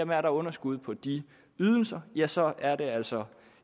der er underskud på de ydelser ja så er det altså